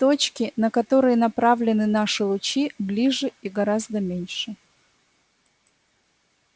точки на которые направлены наши лучи ближе и гораздо меньше